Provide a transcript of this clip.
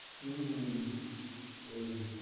হম হম এই,